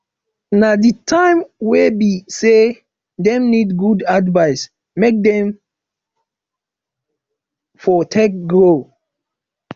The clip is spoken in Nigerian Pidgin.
na di time way be say dem need good advice make dem for take grow